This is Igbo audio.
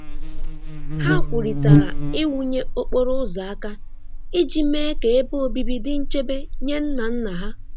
Ha kwurịtara ịwụnye okporo ụzọ aka iji mee ka ebe obibi dị nchebe nye nna nna ha.